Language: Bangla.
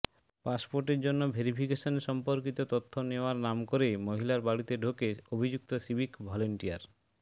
পাসপোর্টের জন্য ভেরিফিকেশন সম্পর্কিত তথ্য নেওয়ার নাম করে মহিলার বাড়িতে ঢোকে অভিযুক্ত সিভিক ভলান্টিয়ার